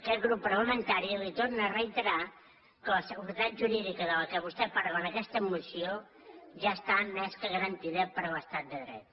aquest grup parlamentari li torna a reiterar que la seguretat jurídica de què vostè parla en aquesta moció ja està més que garantida per l’estat de dret